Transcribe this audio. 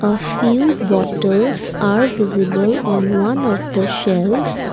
a few bottles are visible on one of the shelves.